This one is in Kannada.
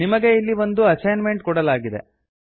ನಿಮಗೆ ಇಲ್ಲಿ ಒಂದು ಅಸೈನ್ ಮೆಂಟ್ ಕೊಡಲಾಗಿದೆ